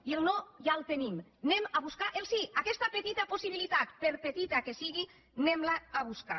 i el no ja el tenim anem a buscar el sí aquesta petita possibilitat per petita que sigui anem la a buscar